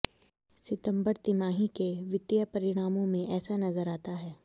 सितंबर तिमाही के वित्तीय परिणामों में ऐसा नजर आता है